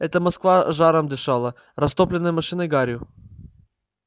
это москва жаром дышала растопленная машинной гарью